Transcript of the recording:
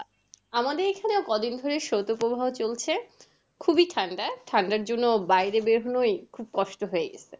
আমাদের এখানে কদিন ধরে শ্রোতপ্রবাহ চলছে। খুবই ঠান্ডা। ঠান্ডার জন্য বাইরে বেরোনোই খুব কষ্ট হয়ে গেছে।